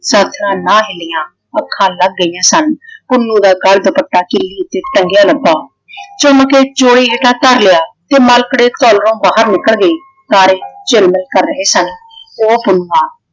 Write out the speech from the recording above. ਸਾਥਣਾਂ ਨਾ ਹਿੱਲੀਆਂ। ਅੱਖਾਂ ਲੱਗ ਗਈਆਂ ਸਨ। ਪੁੰਨੂੰ ਦਾ ਗੱਲ ਦੁਪੱਟਾ ਕਿੱਲੀ ਉਤੇ ਟੰਗਿਆ ਲੱਭਾ। ਚੁੰਮ ਕੇ ਚੋਲੀ ਹੇਠਾਂ ਧਰ ਲਿਆ ਤੇ ਘਰੋਂ ਬਾਹਰ ਨਿਕਲ ਗਈ ਤਾਰੇ ਝਿੱਲਮਿਲ ਕਰ ਰਹੇ ਸਨ ਉਹ ਪੁਨੂੰਆਂ